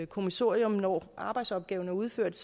kommissorium og arbejdsopgaven er udført